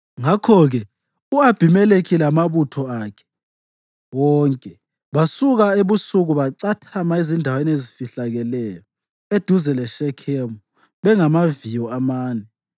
Ngakho-ke u-Abhimelekhi lamabutho akhe wonke basuka ebusuku bacathama ezindaweni ezifihlakeleyo eduze leShekhemu bengamaviyo amane.